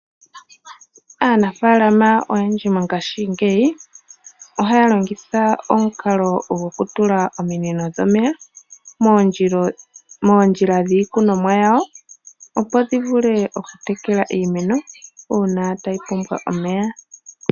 Aanafaalama oyendji mongashingeyi ohaya longitha omukalo gokutula ominino dhomeya moondjila dhiikunomwa yawo opo dhi vule okutekela iimeno uuna tayi pumbwa omeya.